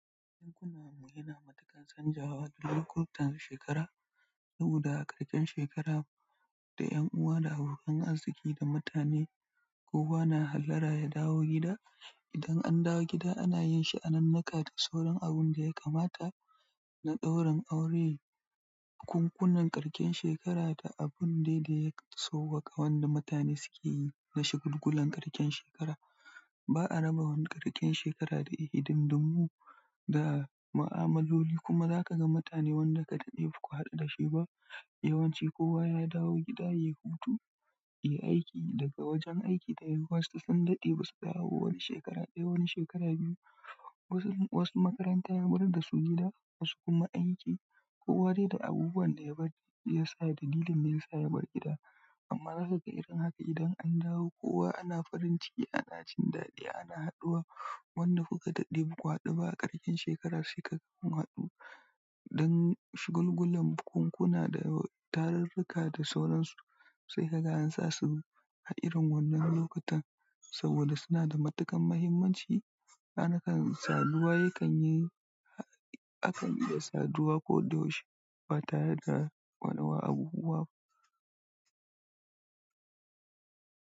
Domin kuna magana matuƙar canzawa ta kowata shekara, saboda haka ƙarshen shekara saboda haka idan shekara, da ƴan uwa da abokan arziki da mutane kowa na hallara ya dawo gida idan an dawo gida ana yin sha'anunnuka da sauran abun da ya kamata na ɗaurin aure, bukunkunan ƙarshen shekara da abun de ɗaya sowaka wanda mutane suke yi na shagulgulan ƙarshen shekara. Ba a raba ƙarshen shekara da hidindimu, da mu'amaloli kuma zakaga mutane wanda kuka daɗe baku haɗu da shi ba, yawanci kowa ya dawo gida yayi hutu yayi aiki, daga wajen aiki da yuwa su sun wasu makaranta ya mayar da su gida wasu kuma aiki. Kowa dai da abubuwan da ya bari shiya sa da dalilin da ya sa ya bar gida. Amma za ka ga irin haka idan an dawo kowa ana farin ciki ana jin daɗi ana hadduwa wanda kuka daɗe ba ku haɗu ba. A ƙarshen shekara sai kaga kun haɗu don shagulgulan bukunkuna da tarurruka da sauransu sai kaga an sa su ha irin wannan lokutan saboda suna da matuƙan mahimmanci. Hakanan saduwa yakan yi akan iya saduwa koda yaushe ba tare da wa wani abubuwa ba.